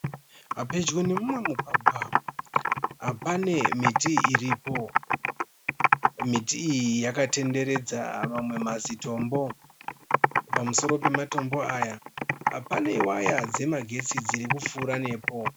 Pedyo nemumwe mugwagwa, pane miti iripo . Miti iyi yakakomberedza manwe mazitombo. Pamusoro pematombo aya pane waya dzemagetsi dzirikupfuura nepo.